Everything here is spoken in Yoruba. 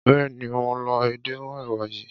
Béèni mo lọ edé mọ́ èwà yìí.